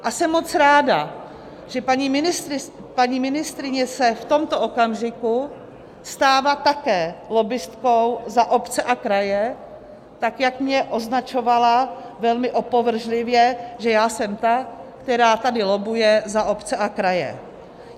A jsem moc ráda, že paní ministryně se v tomto okamžiku stává také lobbistkou za obce a kraje tak, jak mě označovala velmi opovržlivě, že já jsem ta, která tady lobbuje za obce a kraje.